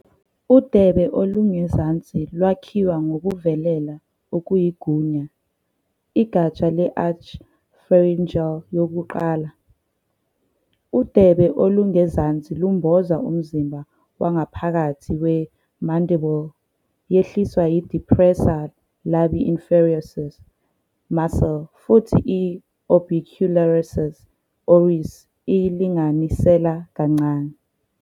Udebe olungezansi lwakhiwa ngokuvelela okuyigunya, igatsha le- arch pharyngeal yokuqala. Udebe olungezansi lumboza umzimba wangaphakathi we-mandible. Yehliswa yi- depressor labii inferioris muscle futhi i- orbicularis oris iyilinganisela kancane.